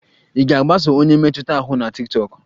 Ị ga-agbaso onye mmetụta ahụ na tiktokụ?